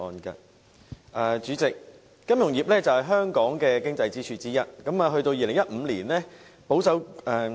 代理主席，金融業是香港的經濟支柱之一。